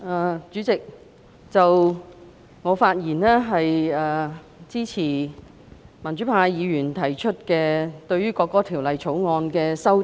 代理主席，我發言支持民主派議員對《國歌條例草案》提出的修正案。